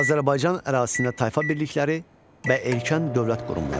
Azərbaycan ərazisində tayfa birlikləri və erkən dövlət qurumları.